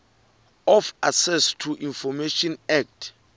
of access to information act